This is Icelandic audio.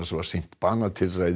var sýnt banatilræði